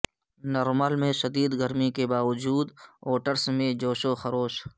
نرمل میں شدید گرمی کے باوجود ووٹرس میں جوش و خروش